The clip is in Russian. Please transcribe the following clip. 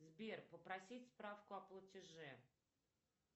сбер попросить справку о платеже